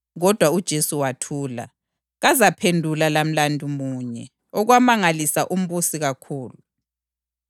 Kodwa uJesu wathula, kazaphendula lamlandu munye, okwamangalisa umbusi kakhulu.